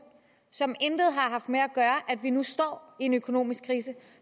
som intet har haft med at gøre at vi nu står i en økonomisk krise